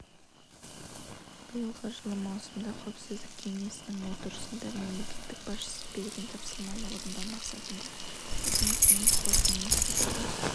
биылғы жылы маусымда қауіпсіздік кеңесінің отырысында мемлекет басшысы берген тапсырманы орындау мақсатында мәдениет және спорт министрлігі